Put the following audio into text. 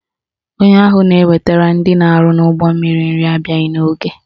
Onye ahụ na-ewetara ndị na-arụ n'ụgbọmmiri nri abịaghị n'oge.